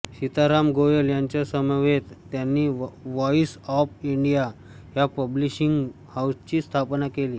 सीता राम गोयल यांच्यासमवेत त्यांनी Voice of India या पब्लिशिंग हाऊसची स्थापना केली